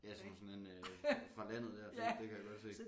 Ja som sådan en øh fra landet dér det kan jeg godt se